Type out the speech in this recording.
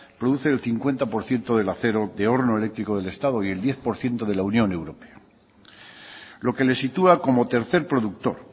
produce el cincuenta por ciento del acero de horno eléctrico del estado y el diez por ciento de la unión europea lo que le sitúa como tercer productor